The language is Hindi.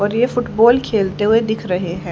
और ये फुटबॉल खेलते हुए दिख रहे हैं।